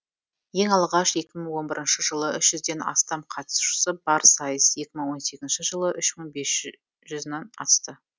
ең алғаш екі мың он бірінші жылы үш жүзден астам қатысушы бар сайыс екі мың он сегізінші жылы үш мың бес жүзнан асты